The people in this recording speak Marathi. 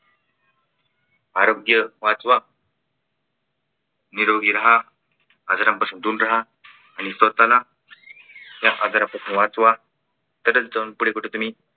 आरोग्य वाचवा. निरोगी राहा. आजारांपासून दूर राहा आणि स्वतःला या आजारापासून वाचवा. तरच जाऊन पुढे कुठे तुम्ही